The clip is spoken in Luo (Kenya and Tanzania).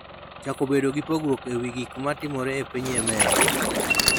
chako bedo gi pogruok e wi gik ma timore e piny Yemen.